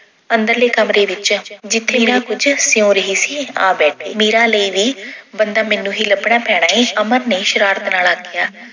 ਅੰਦਰਲੇ ਕਮਰੇ ਵਿੱਚ, ਜਿੱਥੇ ਮੀਰਾ ਕੁੱਝ ਸਿਉਂ ਰਹੀ ਸੀ ਆ ਬੈਠੇ। ਮੀਰਾ ਲਈ ਵੀ ਬੰਦਾ ਮੈਨੂੰ ਹੀ ਲੱਭਣਾ ਪੈਣਾ ਏ, ਅਮਰ ਨੇ ਸ਼ਰਾਰਤ ਨਾਲ ਆਖਿਆ।